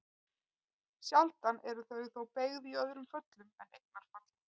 Sjaldan eru þau þó beygð í öðrum föllum en eignarfalli.